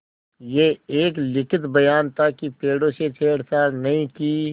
यह एक लिखित बयान था कि पेड़ों से छेड़छाड़ नहीं की